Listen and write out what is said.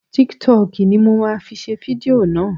Tiktọkì ni mo ma fi ṣe fidió náà.